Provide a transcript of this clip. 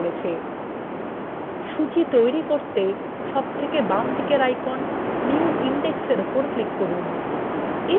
সূচী তৈরি করতে সবচেয়ে বামদিকের আইকনের new index এর উপর click করুন